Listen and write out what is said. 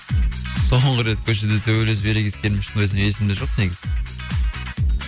соңғы рет көшеде төбелесіп ерегескенім шынымда айтсам есімде жоқ негізі